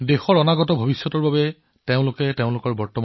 তেওঁলোকে আজি দেশৰ কাইলৈৰ বাবে নিজকে জড়িত কৰি আছে